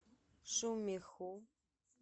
шумиху